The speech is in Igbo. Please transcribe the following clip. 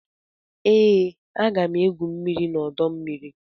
Ee, aga m égwu mmiri n'ọdọmmiri